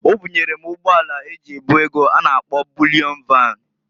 Obunyere m ụgbọ ala eji ebu ego a na -akpọ Bulịọn Van.